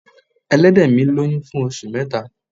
Ẹlẹ́dẹ̀ mi lóyún fún oṣù mẹ́ta.